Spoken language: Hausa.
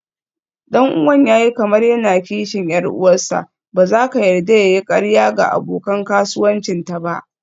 Ɗan'uwan ya yi kamar yana kishin 'yar uwarsa, ba za ka yarda ya yi ƙarya ga abokan kasuwancinta ba.